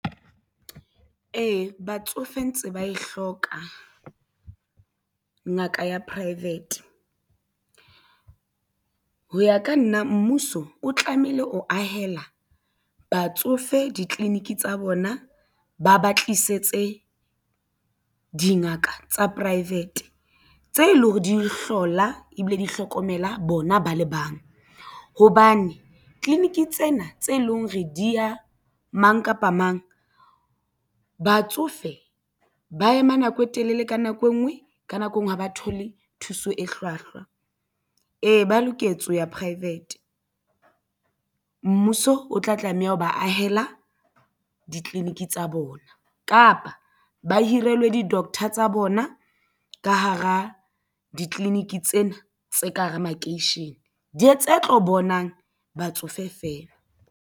Ee, batsofe ntse ba e hloka ngaka ya private. Ho ya ka nna mmuso o tlamehile ho ahela batsofe ditleliniki tsa bona ba ba tlisetse dingaka tsa private tse leng hore di hlola ebile di hlokomela bona ba le bang hobane clinic tsena tse leng re diya mang kapa mang batsofe ba ema nako e telele ka nako e nngwe ka nako engwe ha ba thole thuso e hlwahlwa. Ee, ba loketse ho ya private mmuso o tla tlameha ho ba ahela ditleliniki tsa bona kapa ba hirilwe di doctor tsa bona ka hara ditleliniki tsena tse ka hara makeishene di tse tlo bonang batsofe feela.